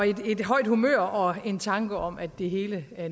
et højt humør og en tanke om at det hele